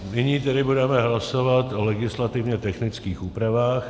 Nyní tedy budeme hlasovat o legislativně technických úpravách.